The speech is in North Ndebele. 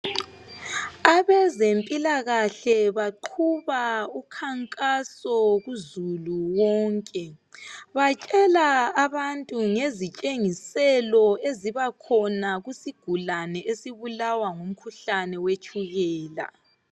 Abezempilakahle baqhuba ukhankaso kuzulu wonke. Batshela abantu ngezitshengiselo ezibakhona kusigulane esibulawa ngumkhuhlane wetshukela